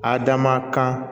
Adama kan